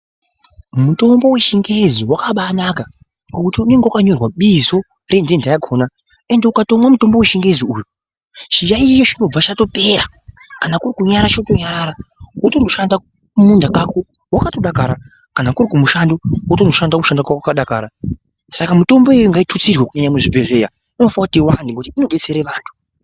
Mutombo wechingezi wakambaanaka ngekuti unenge wakanyorwa bizo rententa yakona ende ukatomwa mutombo wechingezi uyu chiyaiyo chinobva chatopera kana kuri kunyarara chotonyarara wotondo shanda kumunda kako wakatodakara kana kuri kumushando wotondoshanda wakadakara saka mitombo iyoyo ngaitutsirwe kunyanya muzvibhedhleya inofanira kuti iwande ngekuti inodetsera vantu.